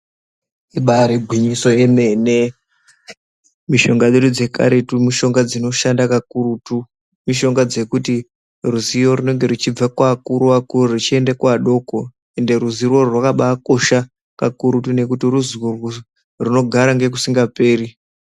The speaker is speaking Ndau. Ibairi gwinyiso yemene mishonga dzedu dzekaretu mishonga dzinoshanda kakurutu mishonga dzekuti ruzivo runenge ruchibve kuva kuru vakuru ri chiende ku adoko ende ruzivo urwu rwakabai kosha kakurutu nekutu ruzivo rinogara ngekusinga peri.